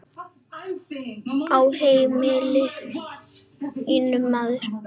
Á heimili mínu, maður.